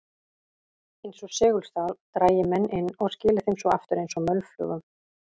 Eins og segulstál drægi menn inn og skili þeim svo aftur eins og mölflugum.